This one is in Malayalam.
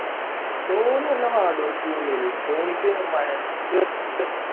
ധോണി നല്ല hardwork ചെയ്യും അല്ലേലും ധോണിക്ക് വയ